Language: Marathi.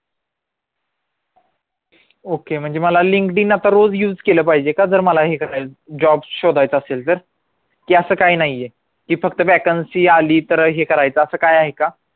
okay म्हणजे मला linkedin आता रोज use केलं पाहिजे का तर मला हे करायला job शोधायचा असेल तर की असं काय नाहीये की फक्त vacancy आली की तर हे करायचं काय आहे का?